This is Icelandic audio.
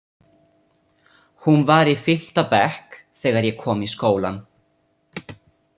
Hún var í fimmta bekk þegar ég kom í skólann.